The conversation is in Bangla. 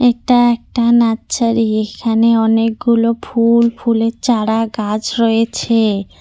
এটা একটা নাচ্ছারি এখানে অনেকগুলো ফুল ফুলের চারা গাছ রয়েছে।